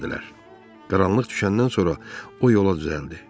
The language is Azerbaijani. Qaranlıq düşəndən sonra o yola düzəldi.